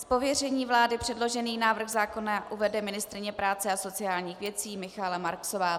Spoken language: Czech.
Z pověření vlády předložený návrh zákona uvede ministryně práce a sociálních věcí Michaela Marksová.